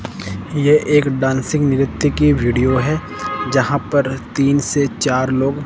ये एक डांसिंग नृत्य की वीडियो है जहां पर तीन से चार लोग--